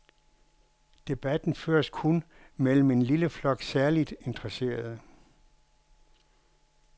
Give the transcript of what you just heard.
Debatten føres kun mellem en lille flok særligt interesserede.